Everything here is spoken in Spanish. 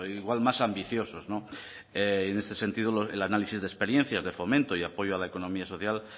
igual más ambiciosos en este sentido el análisis de experiencias de fomento y apoyo a la economía social